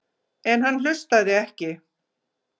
En hann hlustaði ekki.